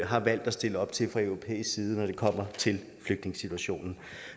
har valgt at stille op til fra europæisk side når det kommer til flygtningesituationen